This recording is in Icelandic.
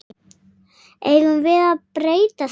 Eigum við að breyta því?